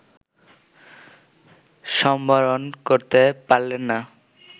সম্বরণ করতে পারলে না